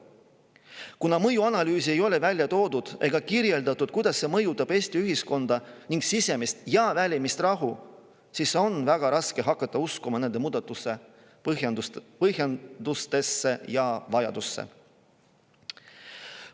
Kuna mõjuanalüüsi ei ole välja toodud ega ole kirjeldatud, kuidas see mõjutab Eesti ühiskonda ning sisemist ja välist rahu, siis on väga raske hakata uskuma nende muudatuste põhjendatusesse ja vajalikkusesse.